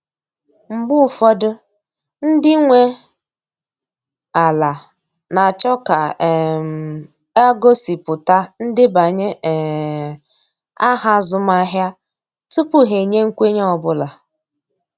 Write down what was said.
Mgbe ụfọdụ, ndị nwe ala na achọ ka um a gosipụta ndebanye um aha azụmahịa tupu ha enye nkwenye ọ bụla